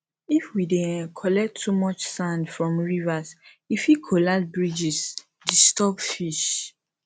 if we dey um collect too much sand from rivers e fit collapse bridges disturb fish